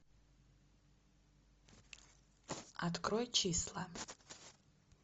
открой числа